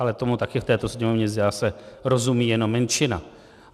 Ale tomu také v této Sněmovně zdá se, rozumí jenom menšina.